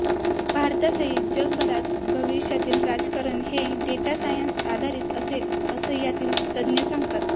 भारतासहित जगभरात भविष्यातील राजकारण हे डेटा सायन्स आधारित असेल असं यातील तज्ज्ञ सांगतात